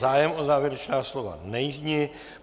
Zájem o závěrečná slova není.